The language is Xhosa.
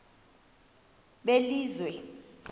belizwe